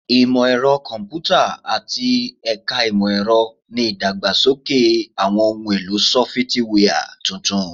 Imọ-ẹrọ Kọmputa ati Ẹka Imọ-ẹrọ ni idagbasoke awọn ohun elo sọfitiwia tuntun